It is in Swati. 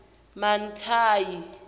mantayi